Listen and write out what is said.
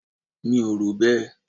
Mi ò rò bẹ́ẹ̀.